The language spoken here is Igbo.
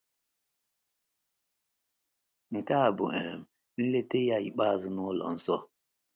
Nke a bụ um nleta ya ikpeazụ n’ụlọ nsọ.